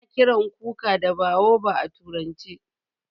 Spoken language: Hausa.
A na kiran kuka da baobab a turance.